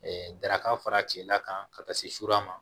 daraka fara cila kan ka taa se ma